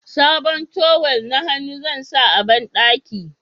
sabon tawul na hannu zan sa a banɗaki